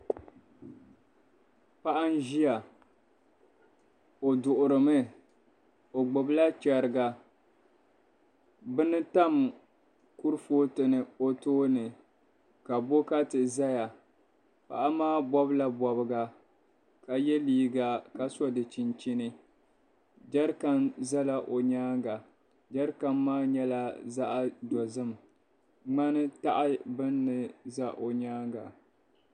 Paɣa n-ʒiya o duɣirimi o gbubila chɛriga bini tam kurifootu ni o tooni ka bokati zaya paɣa maa bɔbila bɔbiga ka ye liiga ka so di chinchini jɛrikani zala o nyaaŋa jɛrikani maa nyɛla zaɣ'dozim ŋmani taɣi bini ni za o nyaaŋa.